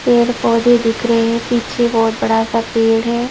पेड़ पौधे दिख रहे हैं पीछे बहुत बड़ा सा पेड़ है।